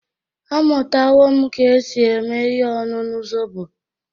Amụtawo m ka esi eme ihe ọñụñu zobo.